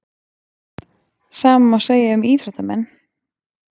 Sama má segja um íþróttamenn.